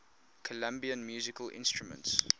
colombian musical instruments